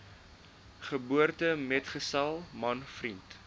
geboortemetgesel man vriend